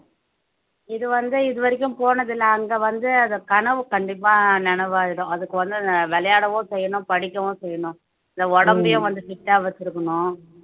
இது வந்து இதுவரைக்கும் போனதில்ல அங்க வந்து அத கனவு கண்டிப்பா நனவாயிடும் அதுக்கு வந்து விளையாடவும் செய்யணும் படிக்கவும் செய்யணும் இந்த உடம்பையும் வந்து fit ஆ வச்சிருக்கணும்